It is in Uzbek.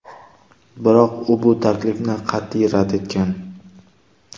Biroq u bu taklifni qat’iy rad etgan.